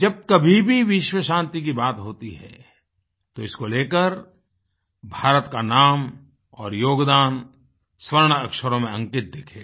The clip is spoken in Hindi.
जब कभी भी विश्व शान्ति की बात होती है तो इसको लेकर भारत का नाम और योगदान स्वर्ण अक्षरों में अंकित दिखेगा